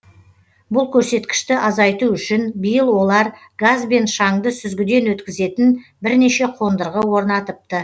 бұл көрсеткішті азайту үшін биыл олар газ бен шаңды сүзгіден өткізетін бірнеше қондырғы орнатыпты